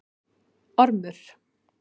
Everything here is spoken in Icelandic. Ormur